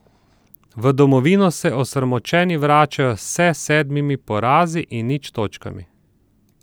V domovino se osramočeni vračajo se sedmimi porazi in nič točkami.